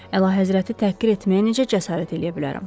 Əlahəzrəti təhqir etməyə necə cəsarət eləyə bilərəm?